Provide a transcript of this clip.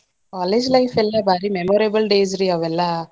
College life ಎಲ್ಲಾ ಭಾರಿ memorable days ರೀ ಅವೆಲ್ಲಾ.